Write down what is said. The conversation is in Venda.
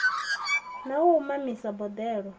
na wa u mamisa boḓelo